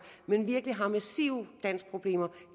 men virkelig har massive danskproblemer